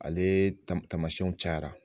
Ale tamasiyɛnw cayara